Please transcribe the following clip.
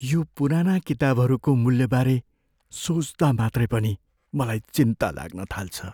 यो पुराना किताबहरूको मूल्यबारे सोच्दा मात्रै पनि मलाई चिन्ता लाग्न थाल्छ।